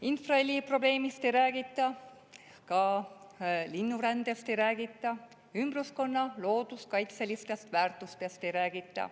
Infraheli probleemist ei räägita, ka linnurändest ei räägita, ümbruskonna looduskaitselistest väärtustest ei räägita.